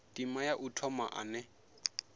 ndima ya u thoma ane